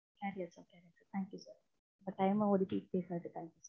thank you sir, thank you sir உங்க time ஒதுக்கி பேசனதுக்கு thank you sir